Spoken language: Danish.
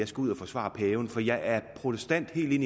skal ud at forsvare paven for jeg er protestant helt ind